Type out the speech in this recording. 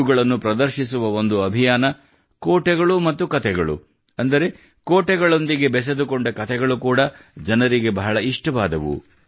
ಇವುಗಳನ್ನು ಪ್ರದರ್ಶಿಸುವ ಒಂದು ಅಭಿಯಾನ ಕೋಟೆಗಳು ಮತ್ತು ಕತೆಗಳು ಅಂದರೆ ಕೋಟೆಗಳೊಂದಿಗೆ ಬೆಸೆದುಕೊಂಡ ಕತೆಗಳು ಕೂಡಾ ಜನರಿಗೆ ಬಹಳ ಇಷ್ಟವಾದವು